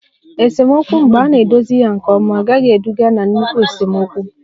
Esemokwu mgbe a na-edozi ya nke ọma agaghị eduga na nnukwu esemokwu